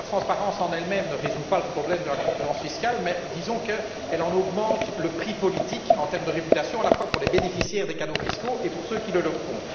La transparence en elle même ne résout pas le problème de la concurrence fiscale, mais disons qu'elle en augmente le prix politique en termes de réputation, à la fois pour les bénéficiaires des cadeaux fiscaux et pour ceux qui les leur font.